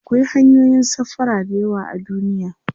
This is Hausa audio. akwai hanyoyin safara da yawa a duniya